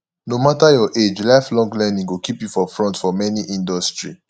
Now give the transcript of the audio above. no matter your age lifelong learning go keep you for front for any industry